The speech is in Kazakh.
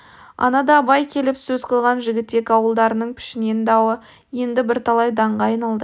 анада абай келіп сөз қылған жігітек ауыл-дарының пішен дауы енді бірталай даңға айналды